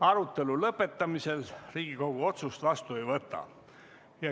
Arutelu lõpetamisel Riigikogu otsust vastu ei võta.